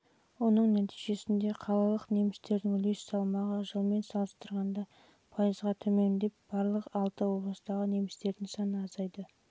оның нәтижесінде қалалық немістердің үлес салмағы жылмен салыстырғанда пайызға төмендеп жылы барлық алты облыстағы немістердің саны